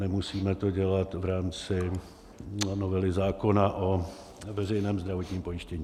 Nemusíme to dělat v rámci novely zákona o veřejném zdravotním pojištění.